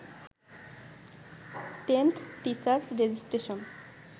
10th teacher registration